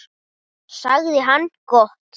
sagði hann: Gott.